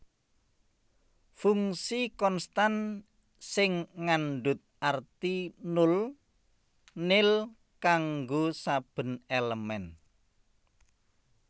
Fungsi konstan sing ngandhut arti nul nil kanggo saben èlemèn